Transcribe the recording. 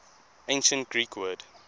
ancient greek word